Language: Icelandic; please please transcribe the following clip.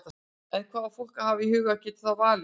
En hvað á fólk að hafa í huga geti það valið?